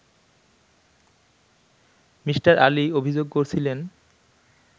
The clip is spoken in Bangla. মি. আলী অভিযোগ করছিলেন